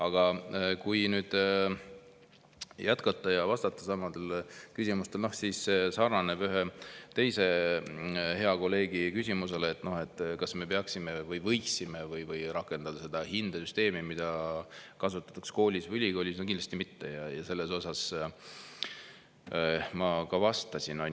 Aga kui nüüd jätkata ja vastata nendele küsimustele, mis sarnanevad ühe teise hea kolleegi küsimusega, et kas me peaksime rakendama või võiksime rakendada hindesüsteemi, mida kasutatakse koolis või ülikoolis – no kindlasti mitte, ja sellele ma ka vastasin.